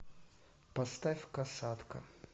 поставь касатка